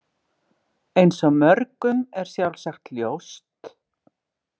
Eins og mörgum er sjálfsagt ljóst.